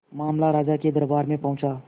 मामला राजा के दरबार में पहुंचा